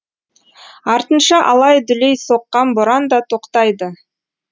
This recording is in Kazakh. артынша алай дүлей соққан боран да тоқтайды